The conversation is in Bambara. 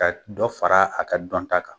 Ka dɔ fara a ka dɔn ta kan.